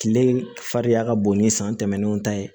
Kile fariya ka bon ni san tɛmɛnenw ta ye